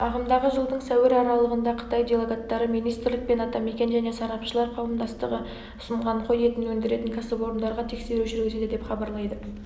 ағымдағы жылдың сәуір аралығында қытай делегаттары министрлік пен атамекен және сарапшылар қауымдастығы ұсынған қой етін өндіретін кәсіпорындарға тексеру жүргізеді деп хабарлайды